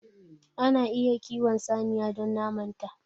Ana iya kiwon saniya don naman ta.